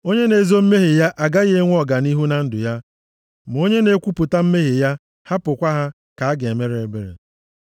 Onye na-ezo mmehie ya agaghị enwe ọganihu na ndụ ya. Ma onye na-ekwupụta mmehie ya hapụkwa ha, ka a ga-emere ebere.